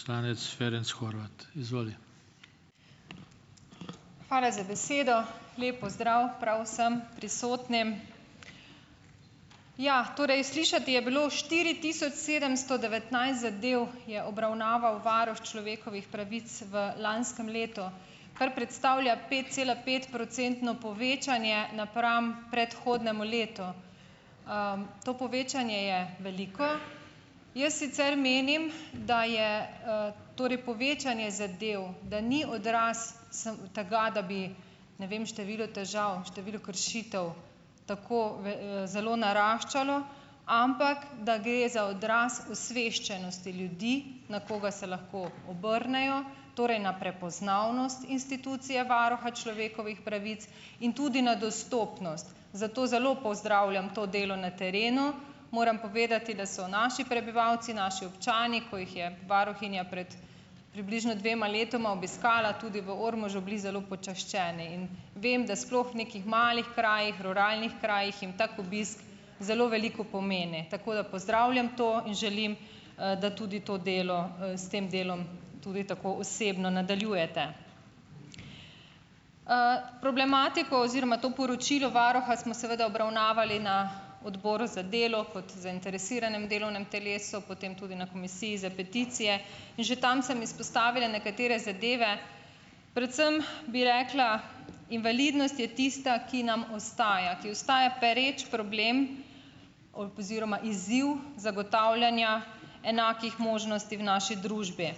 Poslanec Ferenc Horvat, izvoli. Hvala za besedo, lep pozdrav prav vsem prisotnim. Ja, torej slišati je bilo štiri tisoč sedemsto devetnajst zadev je obravnaval varuh človekovih pravic v lanskem letu, kar predstavlja petcelapetprocentno povečanje napram predhodnemu letu, to povečanje je veliko, jaz sicer menim, da je, torej povečanje zadev, da ni odraz samo tega, da bi, ne vem, število težav število kršitev tako zelo naraščalo, ampak da gre za odraz osveščenosti ljudi, na koga se lahko obrnejo, torej na prepoznavnost institucije varuha človekovih pravic in tudi na dostopnost, zato zelo pozdravljam to delo na terenu, moram povedati, da so naši prebivalci, naši občani, ko jih je varuhinja pred približno dvema letoma obiskala tudi v Ormožu, bili zelo počaščeni, in vem, da sploh nekih malih krajih ruralnih krajih je tak obisk zelo veliko pomeni, tako da pozdravljam to in želim, da tudi to delo, s tem delom tudi tako osebno nadaljujete. problematiko oziroma to poročilo varuha smo seveda obravnavali na odboru za delo kot zainteresiranem delovnem telesu, potem tudi na komisiji za peticije, že tam sem izpostavila nekatere zadeve, predvsem bi rekla, invalidnost je tista, ki nam ostaja, ki ostaja pereč problem oziroma izziv zagotavljanja enakih možnosti v naši družbi,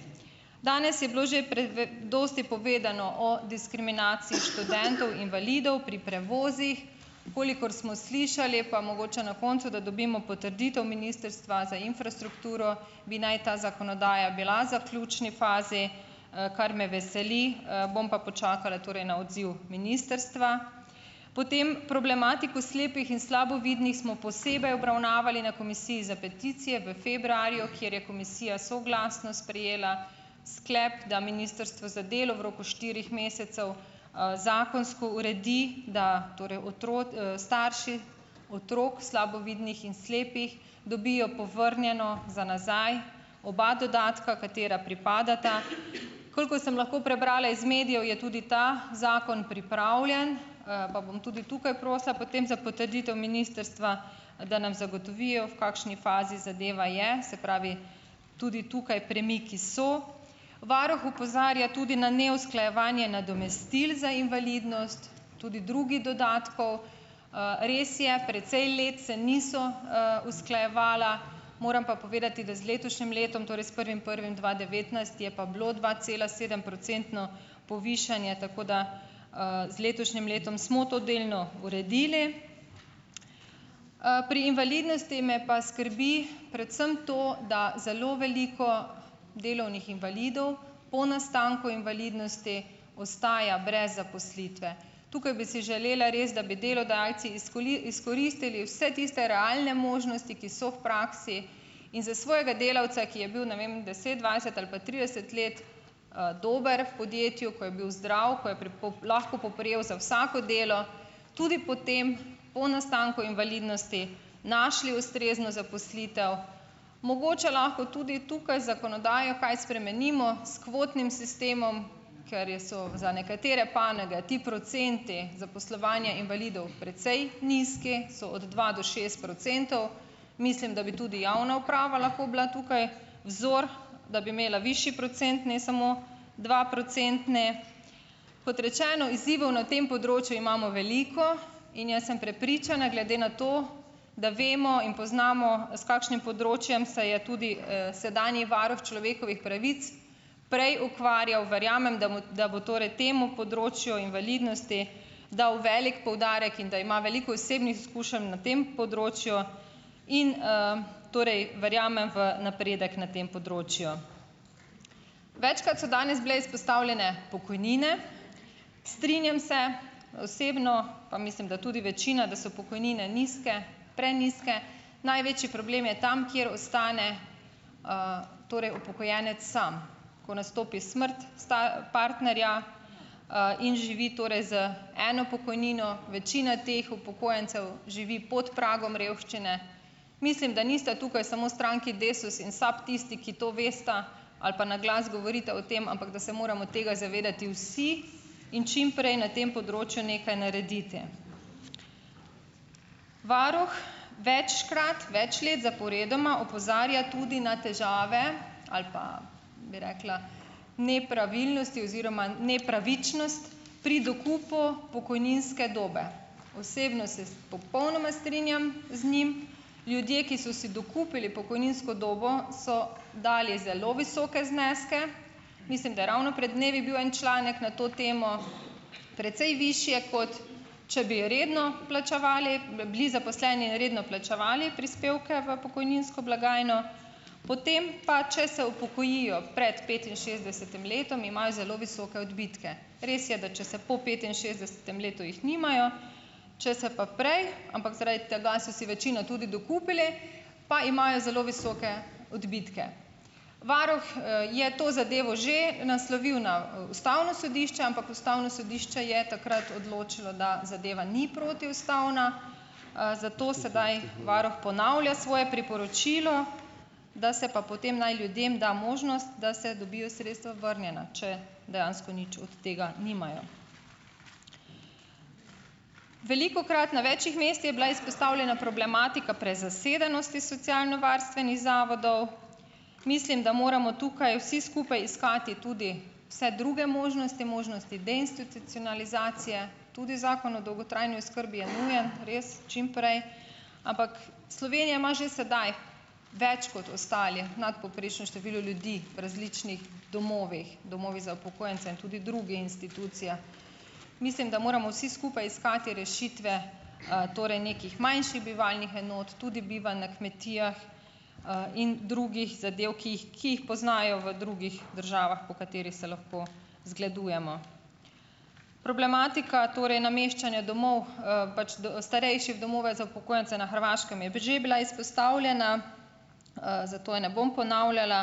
danes je bilo že pred dosti povedano o diskriminaciji študentov invalidov pri prevozih, kolikor smo slišali, pa mogoče na koncu, da dobimo potrditev ministrstva za infrastrukturo, bi naj ta zakonodaja bila zaključni fazi, kar me veseli, bom pa počakala torej na odziv ministrstva, potem problematiko slepih in slabovidnih smo posebej obravnavali na komisiji za peticije v februarju, kjer je komisija soglasno sprejela sklep, da ministrstvo za delo v roku štirih mesecev, zakonsko uredi, da torej starši otrok slabovidnih in slepih dobijo povrnjeno za nazaj oba dodatka, katera pripadata, koliko sem lahko prebrala iz medijev, je tudi ta zakon pripravljen, pa bom tudi tukaj prosila potem za potrditev ministrstva, da nam zagotovijo, v kakšni fazi zadeva je, se pravi, tudi tukaj premiki so, varuh opozarja tudi na neusklajevanje nadomestil za invalidnost tudi drugih dodatkov, res je, precej let se niso, usklajevala, moram pa povedati, da z letošnjim letom torej s prvim prvim dva devetnajst je pa bilo dvacelasedemprocentno povišanje, tako da, z letošnjim letom smo to delno uredili, pri invalidnosti me pa skrbi predvsem to, da zelo veliko delovnih invalidov po nastanku invalidnosti ostaja brez zaposlitve, tukaj bi si želeli res, da bi delodajalci izkoristili vse tiste realne možnosti, ki so v praksi, in za svojega delavca, ki je bil, ne vem, deset, dvajset ali pa trideset let, dober v podjetju, ko je bil zdrav, ko je lahko poprijel za vsako delo, tudi potem, po nastanku invalidnosti, našli ustrezno zaposlitev, mogoče lahko tudi tukaj zakonodajo kaj spremenimo s kvotnim sistemom, ker je, so za nekatere panoge ti procenti zaposlovanja invalidov precej nizki, so od dva do šest procentov, mislim, da bi tudi javna uprava lahko bila tukaj vzor, da bi imela višji procent, ne samo dvoprocentne, kot rečeno, izzivov na tem področju imamo veliko in jaz sem prepričana, glede na to, da vemo in poznamo, s kakšnim področjem se je tudi, sedanji varuh človekovih pravic prej ukvarjal, verjamem, da da bo torej temu področju invalidnosti dal velik poudarek in da ima veliko osebnih izkušenj na tem področju, in, torej verjamem v napredek na tem področju, večkrat so danes bile izpostavljene pokojnine, strinjam se, osebno pa mislim, da tudi večina, da so pokojnine nizke, prenizke, največji problem je tam, kjer ostane, torej upokojenec sam, ko nastopi smrt, sta partnerja, in živi torej z eno pokojnino, večina teh upokojencev živi pod pragom revščine, mislim, da nista tukaj samo stranki Desus in SAB tisti, ki to vesta ali pa na glas govorite o tem, ampak da se moramo tega zavedati vsi in čimprej na tem področju nekaj narediti. Varuh večkrat več let zaporedoma opozarja tudi na težave ali pa, bi rekla, nepravilnosti oziroma nepravičnost pri dokupu pokojninske dobe, osebno se popolnoma strinjam z njim, ljudje, ki so si dokupili pokojninsko dobo, so dali zelo visoke zneske, mislim, da je ravno pred dnevi bil en članek na to temo, precej višje, kot če bi redno plačevali, bi bili zaposleni redno plačevali prispevke v pokojninsko blagajno, potem pa če se upokojijo pred petinšestdesetim letom, imajo zelo visoke odbitke, res je, da če se po petinšestdesetem letu, jih nimajo, če se pa prej, ampak zaradi tega so si večina tudi dokupili, pa imajo zelo visoke odbitke, varuh, je to zadevo že naslovil na ustavno sodišče, ampak ustavno sodišče je takrat odločilo, da zadeva ni protiustavna, zato sedaj varuh ponavlja svoje priporočilo, da se pa potem naj ljudem da možnost, da se dobijo sredstva vrnjena, če dejansko nič od tega nimajo, velikokrat na večih mest je bila izpostavljena problematika prezasedenosti socialnovarstvenih zavodov, mislim, da moramo tukaj vsi skupaj iskati tudi vse druge možnosti, možnosti deinstitucionalizacije, tudi zakon o dolgotrajni oskrbi je nujen res čimprej, ampak Slovenija ima že sedaj več kot ostali nadpovprečno število ljudi v različnih domovih, domovi za upokojence in tudi drugi institucije, mislim, da moramo vsi skupaj iskati rešitve, torej nekih manjših bivalnih enot, tudi bivanj na kmetijah, in drugih zadev, ki jih poznajo v drugih državah, po katerih se lahko zgledujemo, problematika torej nameščanja domov, pač da starejših v domove za upokojence na Hrvaškem je že bila izpostavljena, zato je ne bom ponavljala,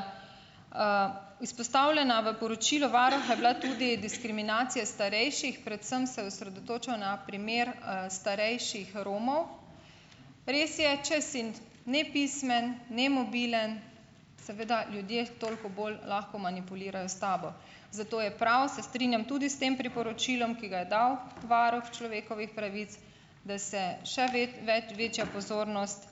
izpostavljena, v poročilu varuha je bila tudi diskriminacija starejših, predvsem se osredotočajo na primer, starejših Romov. Res je, če si nepismen, nemobilen, seveda ljudje toliko bolj lahko manipulirajo s tabo, zato je prav, se strinjam, tudi s tem priporočilom, ki ga je dal varuh človekovih pravic, da se še več večja pozornost,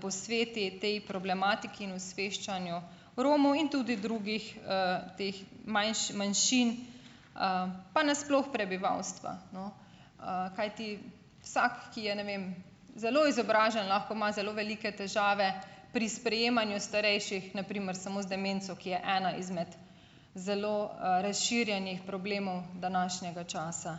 posveti tej problematiki in osveščanju Romov in tudi drugih, teh manjšin, pa nasploh prebivalstva, no, kajti vsak, ki je, ne vem, zelo izobražen, lahko ima zelo veliko težave pri sprejemanju starejših, na primer samo z demenco, ki je ena izmed zelo, razširjenih problemov današnjega časa,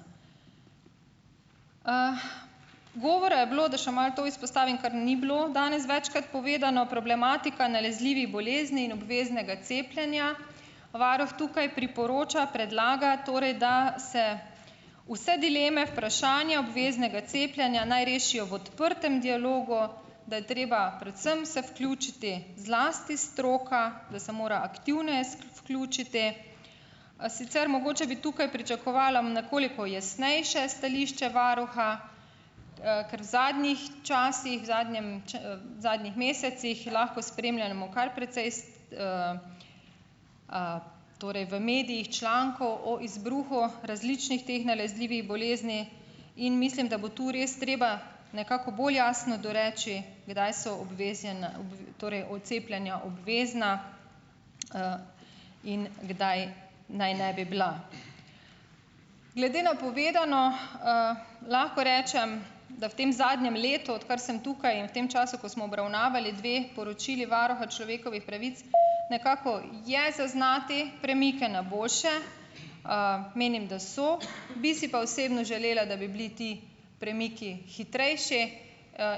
govora je bilo, da še malo to izpostavim, kar ni bilo danes večkrat povedano, problematika nalezljivih bolezni in obveznega cepljenja, varuh tukaj priporoča, predlaga torej, da se vse dileme vprašanja obveznega cepljenja naj rešijo v odprtem dialogu, da je treba predvsem se vključiti, zlasti stroka, da se mora aktivno se vključiti, a sicer mogoče bi tukaj pričakovala nekoliko jasnejše stališče varuha, ker v zadnjih časih zadnjem zadnjih mesecih lahko spremljamo kar precej torej v medijih člankov o izbruhu različnih teh nalezljivih bolezni in mislim, da bo to res treba nekako bolj jasno doreči, kdaj so torej od cepljenja obvezna, in kdaj naj ne bi bila. Glede na povedano, lahko rečem da v tem zadnjem letu, odkar sem tukaj in v tem času, ko smo obravnavali dve poročili varuha človekovih pravic, nekako je zaznati premike na boljše, menim, da so bi si pa osebno želela, da bi bili ti premiki hitrejši,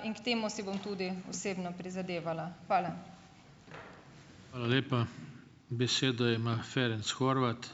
in k temu si bom tudi osebno prizadevala. Hvala. Hvala lepa. Besedo ima Ferenc Horvat.